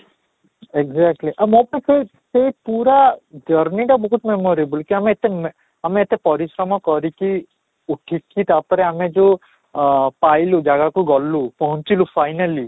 exactly ସେଇ ପୁରା journey ଟା ପୁରା memorable କି ଆମେ ଏତେ ଆମେ ଏତେ ପରିଶ୍ରମ କରି କି ଉଠିକି ତା'ପରେ ଆମେ ଯଉ ଆଃ ପାଇଲୁ ଜାଗାକୁ ଗଲୁ ପହଂଚିଲୁ finally